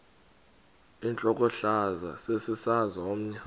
intlokohlaza sesisaz omny